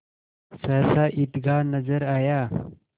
सहसा ईदगाह नजर आया